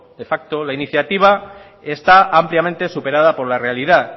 de facto la iniciativa está ampliamente superada por la realidad